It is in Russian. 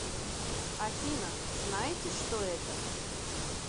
афина знаете что это